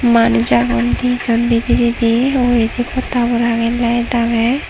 manuj agon di jon bidiredi uguredi podda habor age light age.